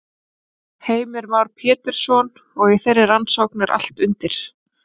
Heimir Már Pétursson: Og í þeirri rannsókn er allt undir?